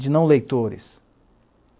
de não leitores.